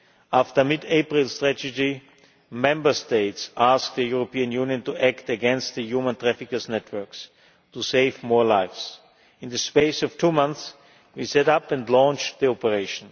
After the mid April tragedy, Member States asked the European Union to act against the human traffickers' networks, to save more lives. In the space of two months, we set up and launched the operation.